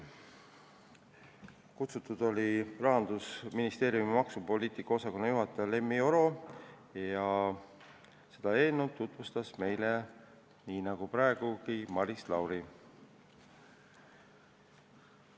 Kutsutud oli Rahandusministeeriumi maksupoliitika osakonna juhataja Lemmi Oro ja seda eelnõu tutvustas meile, nii nagu ta tegi praegugi, Maris Lauri.